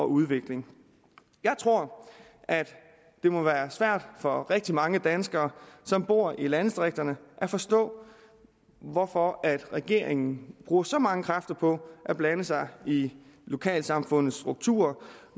udvikling jeg tror at det må være svært for rigtig mange danskere som bor i landdistrikterne at forstå hvorfor regeringen bruger så mange kræfter på at blande sig i lokalsamfundets strukturer